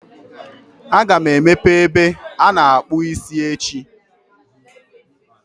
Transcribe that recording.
Aga m emepe ebe ana-akpụ isi echi.